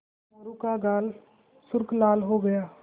मोरू का गाल सुर्ख लाल हो गया